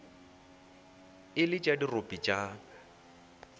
e le tša dirope tša